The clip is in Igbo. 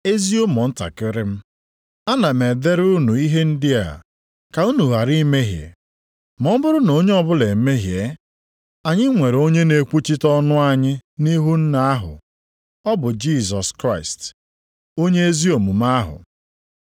Ezi ụmụntakịrị m, ana m edere unu ihe ndị a ka unu ghara imehie. Ma ọ bụrụ na onye ọbụla emehie, anyị nwere onye na-ekwuchite ọnụ anyị nʼihu Nna ahụ. Ọ bụ Jisọs Kraịst, Onye ezi omume ahụ.